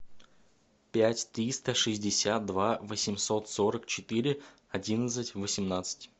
пять триста шестьдесят два восемьсот сорок четыре одиннадцать восемнадцать